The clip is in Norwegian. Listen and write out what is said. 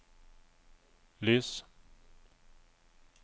lys